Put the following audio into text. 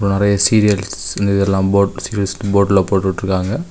நிறைய சீரியஸ் இந்த இதெல்லா போர்டில போட்டு விட்டுருக்காங்க.